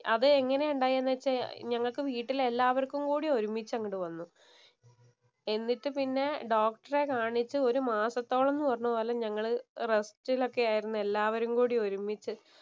അതെങ്ങനെ ഉണ്ടായെന്നുവച്ച ഞങ്ങൾക്ക് വീട്ടിൽ എല്ലാവർക്കും കൂടി ഒരുമിച്ച് അങ്ങട് വന്നു. എന്നിട്ട് പിന്നെ ഡോക്ടറെ കാണിച്ച് ഒരു മാസത്തോളം എന്ന് പറഞ്ഞപോലെ ഞങ്ങള് റെസ്റ്റിലൊക്കെ ആയിരുന്നു എല്ലാരും കൂടി ഒരുമ്മിച്ചു